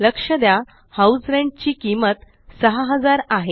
लक्ष द्या house rent ची किंमत 6000 आहे